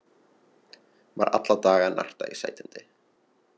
Var alla daga að narta í sætindi.